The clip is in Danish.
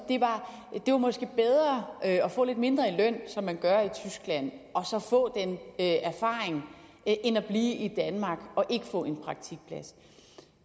at at få lidt mindre i løn som man gør i tyskland og så få den erfaring end at blive i danmark og ikke få